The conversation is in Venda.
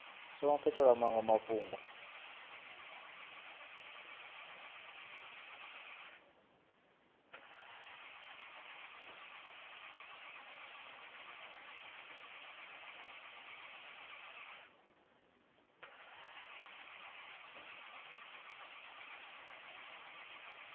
songo katelwa maṅwe a mafhungo